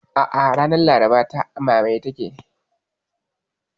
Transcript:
A'a, ranar Laraba ta, a mamaye take